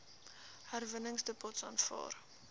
herwinningsdepots aanvaar